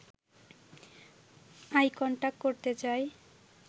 I contact করতে চাই